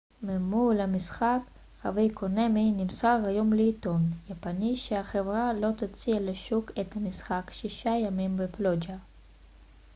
ממו ל המשחק חב' קונאמי נמסר היום לעיתון יפני שהחברה לא תוציא לשוק את המשחק שישה ימים בפלוג'ה